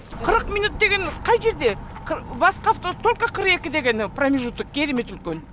қырық минут деген қай жерде басқа автобус только қырық екіде гәне промежуток керемет үлкен